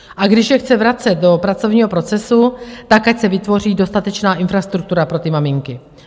A když je chce vracet do pracovního procesu, tak ať se vytvoří dostatečná infrastruktura pro ty maminky.